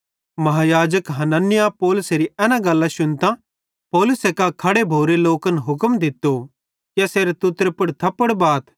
महायाजक हनन्याह पौलुसेरी एना गल्लां शुन्तां पौलुसे कां खड़े भोरे लोकन हुक्म दित्तो कि एसेरे तुत्तरे पुड़ थप्पड़ बाथ